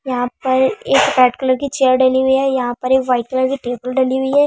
यहाँ पर एक रेड कलर की चेयर डली हुई है वाइट कलर की टेबल डली हुई है।